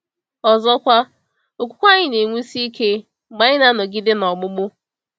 Ọzọkwa, okwukwe anyị na-enwusi ike mgbe anyị na-anọgide n’ogbugbu.